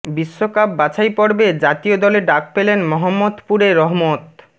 বিশ্বকাপ বাছাই পর্বে জাতীয় দলে ডাক পেলেন মহম্মদপুরে রহমত